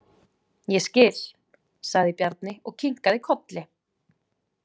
Ég skil, sagði Bjarni og kinkaði kolli.